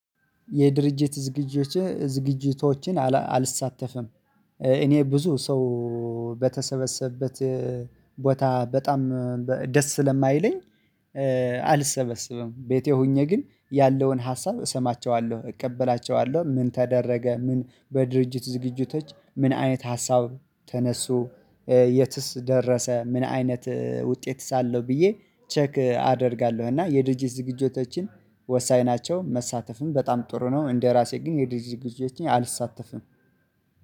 የድርጅት ዝግጅቶችን ዝግጅቶችን አልሳተፍም። እኔ ብዙ ሰው በተሰበሰበት ቦታ በጣም ደስ ስለማይለኝ። አልሰበሰብም ቤቴ ሆኜ ግን ያለውን ሀሳብ እሰማቸዋለሁ እቀበላቸዋለሁ። ምን ተደረገ ምን በድርጅት ዝግጅቶች ምን አይነት ሀሳብ ተነሱ የትስ ደረሰ ምን አይነት ውጤት አለው ብዬ ቼክ አደርጋለሁ። እና የድርጅት ዝግጅቶችን ወሳኝ ናቸው መሳተፍም በጣም ጥሩ ነው። እንደ ራሴ ግን የድርጅት ግዢዎችን አልሳተፍም